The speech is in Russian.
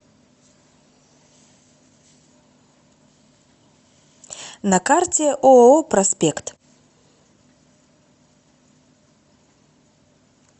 на карте ооо проспект